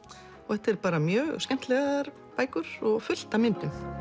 þetta eru mjög skemmtilegar bækur og fullt af myndum